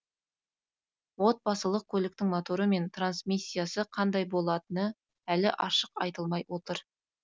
отбасылық көліктің моторы мен трансмиссиясы қандай болатыны әлі ашық айтылмай отыр